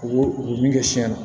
U u bɛ min kɛ siɲɛ na